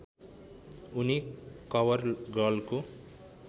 उनी कवर गर्लको